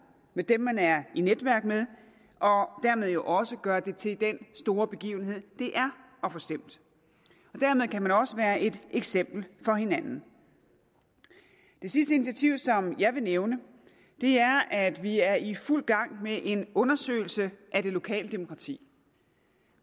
med dem man er i netværk med og dermed jo også gøre det til den store begivenhed det er at få stemt dermed kan man også være et eksempel for hinanden det sidste initiativ som jeg vil nævne er at vi er i fuld gang med en undersøgelse af det lokale demokrati